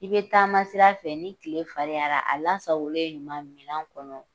I be taama sira fɛ ni tile farinyara a lasagolen ɲuman minan kɔnɔ